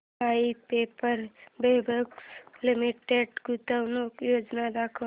Voith paper fabrics limited गुंतवणूक योजना दाखव